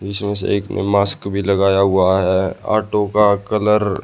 इसमें से एक ने मास्क भी लगाया हुआ है ऑटो का कलर --